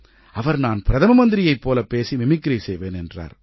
அவர் நான் பிரதம மந்திரியைப் போல பேசி மிமிக்ரி செய்வேன் என்றார்